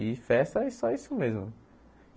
E festa é só isso mesmo.